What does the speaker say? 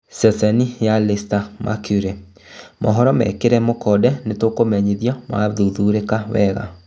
(Ceceni ya Leicester Mercury) mohoro mekĩrĩre mũkonde nĩtũkũmenyithio ma thuthurĩka wega